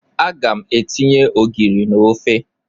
Aga m etinye ogiri na ofe.